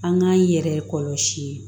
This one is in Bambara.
An k'an yɛrɛ kɔlɔsi